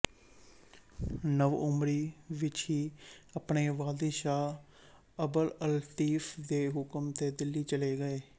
ਨਵ ਉਮਰੀ ਵਿੱਚ ਹੀ ਆਪਣੇ ਵਾਲਿਦ ਸ਼ਾਹ ਅਬਦ ਅਲਤੀਫ਼ ਦੇ ਹੁਕਮ ਤੇ ਦਿੱਲੀ ਚਲੇ ਗਏ